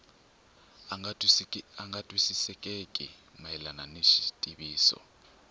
nga twisisekeki mayelana ni xitiviso